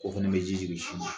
Ko fana bɛ ji jigin sin na